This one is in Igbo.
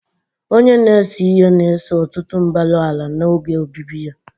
Onye na-ese ihe na-ese ọtụtụ mbara ala n'oge obibi ha.